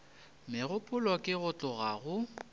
megopolo ke go tloga go